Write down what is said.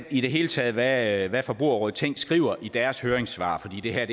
i det hele taget er ret interessant hvad forbrugerrådet tænk skriver i deres høringssvar for det her